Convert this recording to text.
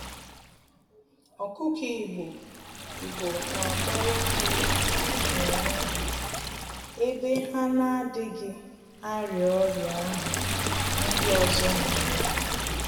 Ọkụkọ Igbo Igbo n'akpara nri n'onwe ha, ebe ha n'adịghị arịa ọrịa ahụ ndị ọzọ n'arịa